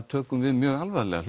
tökum við mjög alvarlega